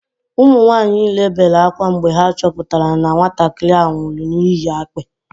Ụmụ nwanyị niile bere ákwá mgbe ha chọpụtara na nwatakịrị ahụ nwụrụ n'ihi akpị